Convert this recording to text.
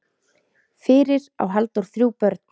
Fyrir á Halldór þrjú börn.